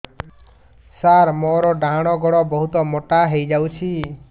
ସାର ମୋର ଡାହାଣ ଗୋଡୋ ବହୁତ ମୋଟା ହେଇଯାଇଛି